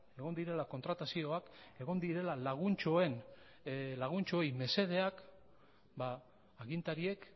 egon direla kontratazioak egon direla laguntxoei mesedeak ba agintariek